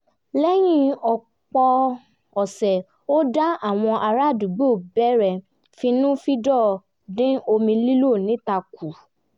lẹ́yìn ọ̀pọ̀ ọ̀sẹ̀ ọ̀dá àwọn ará àdúgbò bẹ̀rẹ̀ fínnúfíndọ̀ dín omi lílò níta kù